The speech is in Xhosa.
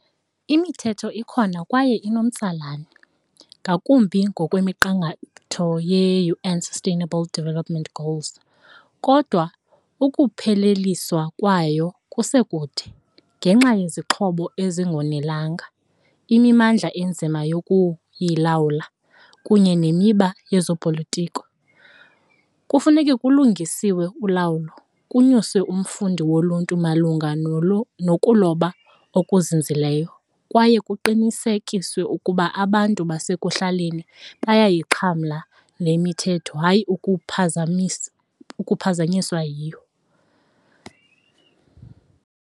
Imithetho ikhona kwaye inomtsalane ngakumbi ngokwemiqathango ye-U_N Sustainable Development Goals kodwa ukupheleliswa kwayo kusekude ngenxa yezixhobo ezingonelanga, imimandla inzima yokuyilawula kunye nemiba yezopolitiko. Kufuneke kulungisiwe ulawulo kunyuswe umfundi woluntu malunga nokuloba okuzinzileyo kwaye kuqinisekiswe ukuba abantu basekuhlaleni bayayixhamla le mithetho hayi ukuphazamisa ukuphazanyiswa yiyo.